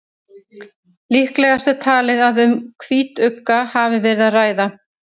líklegast er talið að um hvítugga hafi verið að ræða